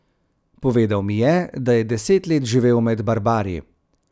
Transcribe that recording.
Povedal mi je, da je deset let živel med barbari.